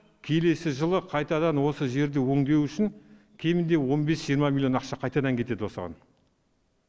келесі жылы қайтадан осы жерді өңдеу үшін кемінде он бес жиырма миллион ақша қайтадан кетеді осыған